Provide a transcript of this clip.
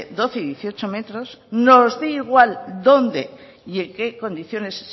doce y dieciocho metros nos dé igual dónde y en qué condiciones